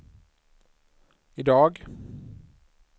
idag